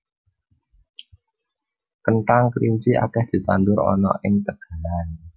Kenthang kelinci akeh ditandur ana ing tegalan